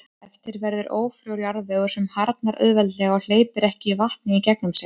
Eftir verður ófrjór jarðvegur sem harðnar auðveldlega og hleypir ekki vatni í gegnum sig.